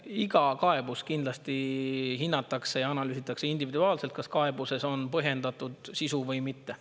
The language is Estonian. Iga kaebuse puhul kindlasti hinnatakse ja analüüsitakse individuaalselt, kas kaebuses on põhjendatud sisu või mitte.